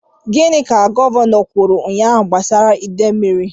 Gịnị ka Gọvanọ kwuru ụnyahụ gbasara ide mmiri?